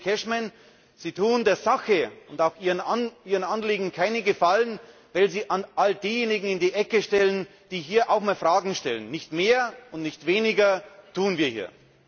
Lieber Kollege Cashman, Sie tun der Sache und auch Ihren Anliegen keinen Gefallen, wenn Sie all diejenigen in die Ecke stellen, die hier auch einmal Fragen stellen. Nicht mehr und nicht weniger tun wir hier!